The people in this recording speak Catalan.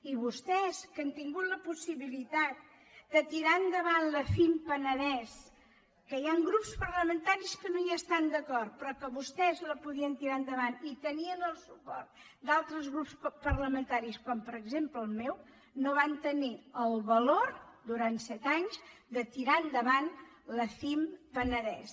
i vostès que han tingut la possibilitat de tirar endavant la cim penedès que hi han grups parlamentaris que no hi estan d’acord però que vostès la podien tirar endavant i tenien el suport d’altres grups parlamentaris com per exemple el meu no van tenir el valor durant set anys de tirar endavant la cim penedès